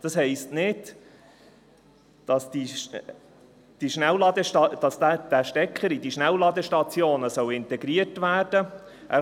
Das heisst nicht, dass dieser Stecker in die Schnellladestationen integriert werden muss.